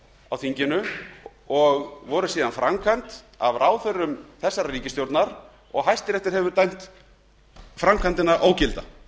á þingi lög sem voru framkvæmd af ráðherrum ríkisstjórnarinnar og hæstiréttur hefur síðan dæmt þá framkvæmd ógilda